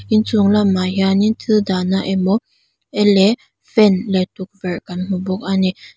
inchung lamah hianin thil dahna emaw ele fan leh tukverh kan hmu bawk a ni.